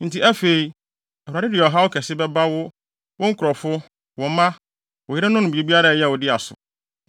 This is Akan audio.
Enti afei, Awurade de ɔhaw kɛse bɛba wo, wo nkurɔfo, wo mma, wo yerenom ne biribiara a ɛyɛ wo dea so.